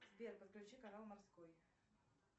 сбер подключи канал морской